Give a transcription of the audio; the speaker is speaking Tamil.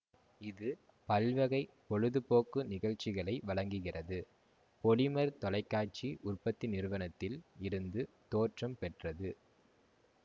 இது பல்வகை பொழுதுபோக்கு நிகழ்ச்சிகளை வழங்குகிறது பொலிமர் தொலைக்காட்சி உற்பத்தி நிறுவனத்தில் இருந்து தோற்றம் பெற்றது